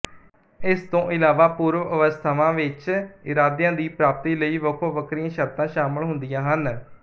ਇਸ ਤੋਂ ਇਲਾਵਾ ਪੂਰਵਅਵਸਥਾਵਾਂ ਵਿੱਚ ਇਰਾਦਿਆਂ ਦੀ ਪ੍ਰਾਪਤੀ ਲਈ ਵੱਖੋ ਵੱਖਰੀਆਂ ਸ਼ਰਤਾਂ ਸ਼ਾਮਲ ਹੁੰਦੀਆਂ ਹਨ